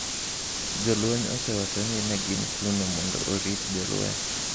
Jolweny osewacho ni ne gin kuno mondo orit jolweny.